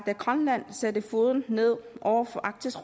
grønland satte foden ned over for arktisk